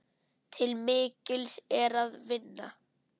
Til mikils er að vinna.